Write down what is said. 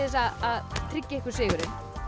að tryggja ykkur sigurinn